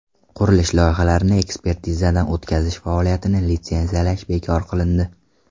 Qurilish loyihalarini ekspertizadan o‘tkazish faoliyatini litsenziyalash bekor qilindi.